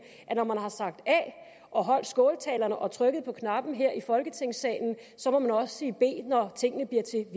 at når man har sagt a og holdt skåltalerne og trykket på knappen her i folketingssalen må man også sige b når tingene